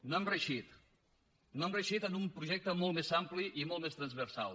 no hem reeixit no hem reeixit en un projecte molt més ampli i molt més transversal